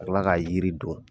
Ka kila ka yiri don.